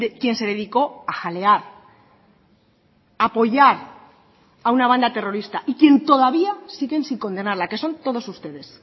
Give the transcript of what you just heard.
quien se dedicó a jalear a apoyar a una banda terrorista y quien todavía siguen sin condenarla que son todos ustedes